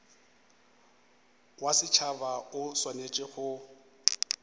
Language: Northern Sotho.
wa setšhaba o swanetše go